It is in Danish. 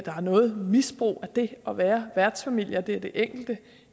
er noget misbrug af det at være værtsfamilie altså at det er det enkelte